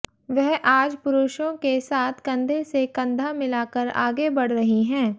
वह आज पुरुषों के साथ कंधे से कंधा मिलाकर आगे बढ़ रही हैं